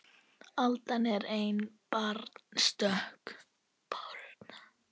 Aldan er ein báran stök